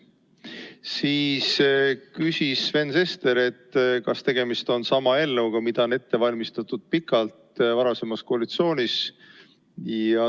Siis küsis Sven Sester, kas tegemist on sama eelnõuga, mida on pikalt varasemas koalitsioonis ette valmistatud.